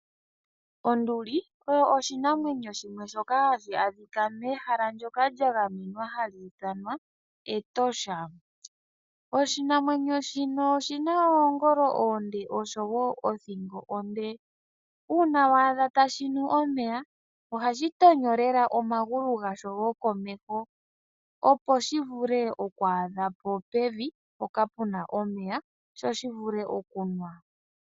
Onduli oyo oshinamwenyo shimwe shoka hashi kala mehala ndyoka lya gamenwa hali ithanwa Etosha. Oshinamwenyo shino oshi na oongolo oonde osho wo othingo onde. Uuna wa adha tashi nu omeya, ohashi tonyo lela omagulu gasho gokomeho opo shi vule okwaadha po pevi mpoka pu na omeya, sho shi vule okunwa.